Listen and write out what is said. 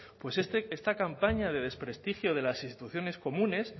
pues esta campaña de desprestigio de las instituciones comunes